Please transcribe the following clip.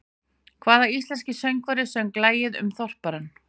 Hvaða íslenski söngvari söng lagið um Þorparann?